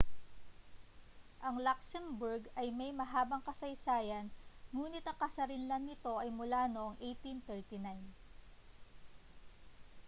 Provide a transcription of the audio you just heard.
ang luxembourg ay may mahabang kasaysayan nguni't ang kasarinlan nito ay mula noong 1839